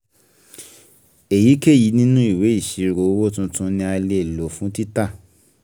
Èyíkéyìí nínú ìwé ìṣirò owó tuntun ni a lè lò fún títà.